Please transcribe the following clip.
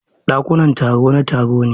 Ɗakunan taro na taro ne.